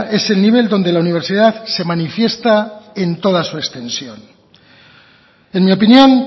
es el nivel donde la universidad se manifiesta en toda su extensión en mi opinión